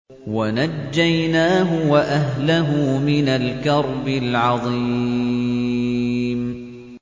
وَنَجَّيْنَاهُ وَأَهْلَهُ مِنَ الْكَرْبِ الْعَظِيمِ